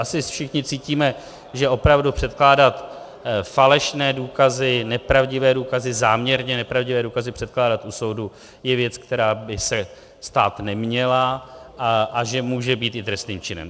Asi všichni cítíme, že opravdu předkládat falešné důkazy, nepravdivé důkazy, záměrně nepravdivé důkazy, předkládat u soudu je věc, která by se stát neměla, a že může být i trestným činem.